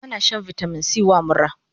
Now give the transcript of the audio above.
Ana shan vitamin C wa mura